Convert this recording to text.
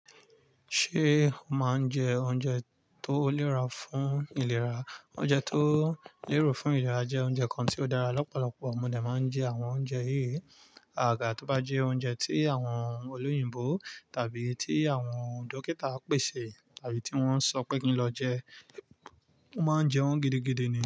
Ṣé o máa ń jẹ oúnjẹ tó lẹ́ra fún ìlera? Oúnjẹ tó lérò fún ìlera jẹ́ oúnjẹ kan tí ó dára. Ọ̀pọ̀lọpọ̀ ọmọdé máa ń jẹ àwọn oúnjẹ yìí. Àgà tí ó bá jẹ́ oúnjẹ tí àwọn olóyìnbo tàbí tí àwọn dókítà á pèsè tàbí tí wọ́n sọ pé kí n lọ jẹ, wọ́n máa ń jẹ wọ́n gidigidi ni.